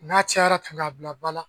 N'a cayara, tun bila ba la